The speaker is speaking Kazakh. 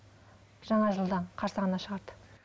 жаңа жылдың қарсаңында шығарды